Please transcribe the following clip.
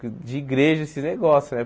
De igreja, esses negócios, né?